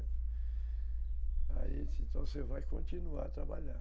Aí, assim, então você vai continuar a trabalhar.